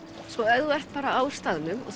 ef þú ert bara á staðnum og